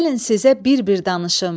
gəlin sizə bir-bir danışım: